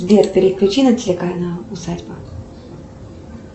сбер переключи на телеканал усадьба